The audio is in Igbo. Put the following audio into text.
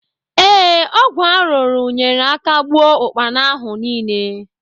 Ee, ọgwụ arụrụ nyeere aka gbuo ụkpana ahụ niile